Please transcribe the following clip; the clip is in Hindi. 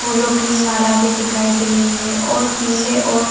फूलो की माला भी दिखाई दे रही है और पीले और --